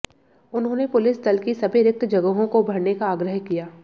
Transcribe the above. उन्होंने पुलिस दल की सभी रिक्त जगहों को भरने का आग्रह किया